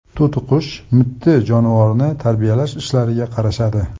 To‘tiqush mitti jonivorni tarbiyalash ishlariga qarashadi.